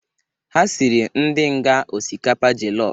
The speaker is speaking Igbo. Ha sịrị ndi nga ọsikapa jọllọf